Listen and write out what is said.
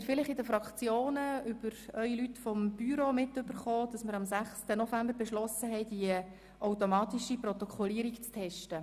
Vielleicht haben Sie in den Fraktionen durch Ihre Büromitglieder erfahren, dass wir am 6. November beschlossen haben, die automatische Protokollierung zu testen.